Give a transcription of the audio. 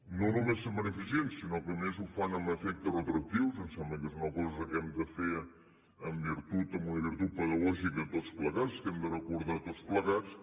no només se’n beneficien sinó que a més ho fan amb efecte retroactiu em sembla que és una cosa que hem de fer amb una virtut pedagògica tots plegats que hem de recordar tots plegats